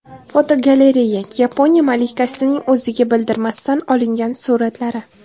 Fotogalereya: Yaponiya malikasining o‘ziga bildirmasdan olingan suratlari.